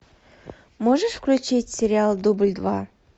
можешь включить сериал дубль два